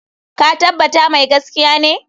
Ka tabbata mai gaskiya ne?